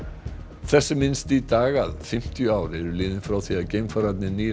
þess er minnst í dag að fimmtíu ár eru liðin frá því að bandarísku geimfararnir